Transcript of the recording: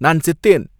நான் செத்தேன்!